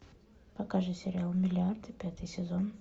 покажи сериал миллиарды пятый сезон